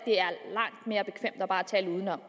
tale udenom